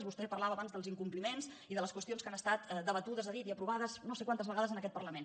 vostè parlava abans dels incompliments i de les qüestions que han estat debatudes ha dit i aprovades no sé quantes vegades en aquest parlament